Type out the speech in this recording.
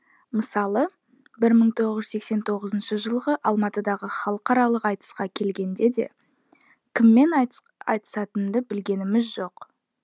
мысалы бір мың тоғыз жүз сексен тоғызыншы жылғы алматыдағы халықаралық айтысқа келгенде де кіммен айтысатынымды білгеніміз жоқ